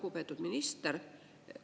Lugupeetud minister!